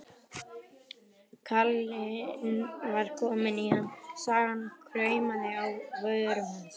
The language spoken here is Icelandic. Kallinn var kominn í ham, sagan kraumaði á vörum hans.